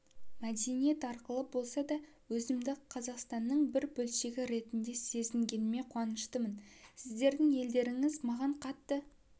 мәдениет арқылы болса да өзімді қазақстанның бір бөлшегі ретінде сезінгеніме қуаныштымын сіздердің елдеріңіз маған қатты